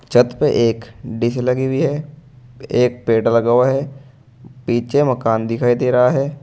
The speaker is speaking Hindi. छत पर एक डीश लगी हुई है एक पेड़ लगा हुआ है पीछे मकान दिखाई दे रहा है।